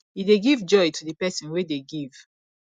e dey give joy to the person wey dey give